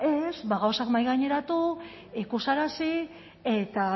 ez gauzak mahaigaineratu ikusarazi eta